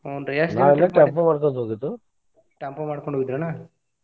ಹೂನ್ರೀ tempo ಮಾಡ್ಕೊಂಡ್ ಹೋಗಿದ್ರಿ ಎನ?